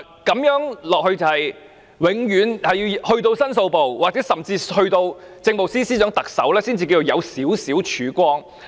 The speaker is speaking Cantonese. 這樣下去，永遠要去到申訴部，甚至政務司司長、特首，才可說有少許曙光。